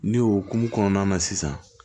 Ne y'o kun kɔnɔna na sisan